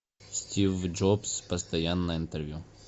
стив джобс постоянное интервью